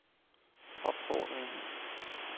opfordring